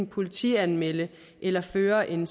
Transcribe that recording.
politianmelde eller føre en